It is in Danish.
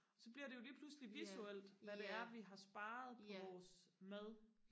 så bliver det jo lige pludselig visuelt hvad det er vi har sparet på vores mad